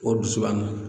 O dusu b'an na